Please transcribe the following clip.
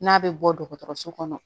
N'a bɛ bɔ dɔgɔtɔrɔso kɔnɔ